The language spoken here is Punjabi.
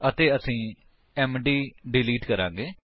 ਅਤੇ ਅਸੀ ਐਮਡੀ ਡਿਲੀਟ ਕਰਾਂਗੇ